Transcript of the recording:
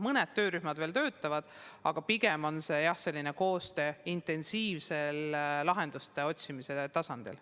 Mõned töörühmad veel töötavad, aga pigem käib koostöö intensiivse lahenduste otsimise tasandil.